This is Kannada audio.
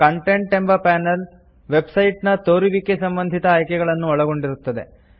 ಕಾಂಟೆಂಟ್ ಎಂಬ ಪಾನೆಲ್ ವೆಬ್ ಸೈಟ್ಸ್ ನ ತೋರುವಿಕೆಗೆ ಸಂಬಂಧಿತ ಆಯ್ಕೆಗಳನ್ನು ಒಳಗೊಂಡಿರುತ್ತದೆ